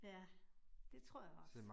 Ja, det tror jeg også